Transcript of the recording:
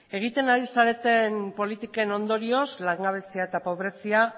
egiten ari zareten politiken ondorioz langabezia eta pobrezia